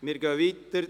Wir fahren weiter.